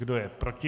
Kdo je proti?